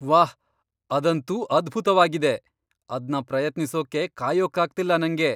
ವಾಹ್, ಅದಂತೂ ಅದ್ಭುತ್ವಾಗಿದೆ! ಅದ್ನ ಪ್ರಯತ್ನಿಸೋಕೆ ಕಾಯೋಕಾಗ್ತಿಲ್ಲ ನಂಗೆ!